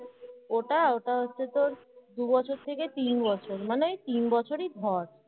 ওটা ওটা হচ্ছে তোর দু বছর থেকে তিন বছর মানে ওই তিন বছরই ধর।